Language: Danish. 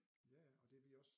Ja ja og det vi også